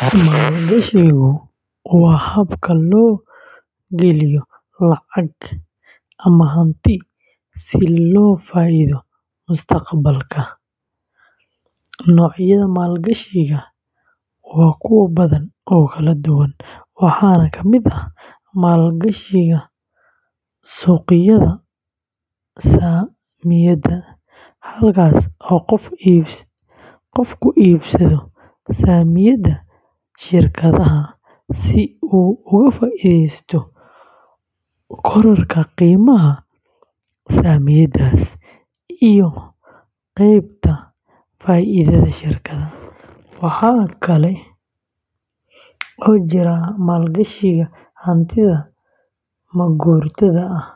Maalgashigu waa habka loo geliyo lacag ama hanti si loo helo faa’iido mustaqbalka. Noocyada maalgashiga waa kuwo badan oo kala duwan, waxaana ka mid ah: maalgashiga suuqyada saamiyada, halkaas oo qofku iibsado saamiyada shirkadaha si uu uga faa’iideysto kororka qiimaha saamiyadaas iyo qaybta faa’iidada shirkadda. Waxaa kale oo jira maalgashiga hantida maguurtada ah